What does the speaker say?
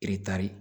Ee taari